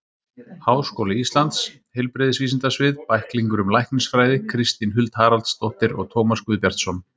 Háskóli Íslands: Heilbrigðisvísindasvið- Bæklingur um læknisfræði Kristín Huld Haraldsdóttir og Tómas Guðbjartsson.